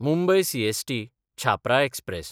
Mumbai CST-Chhapra express